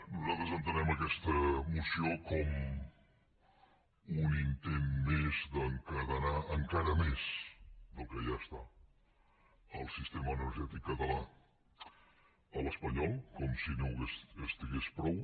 nosaltres entenem aquesta moció com un intent més d’encadenar encara més del que ja ho està el sistema energètic català a l’espanyol com si no ho estigués prou